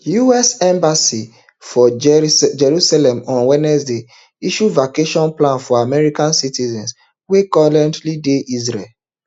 us embassy for jerusalem on wednesday issue evacuation plan for american citizens wey currently dey israel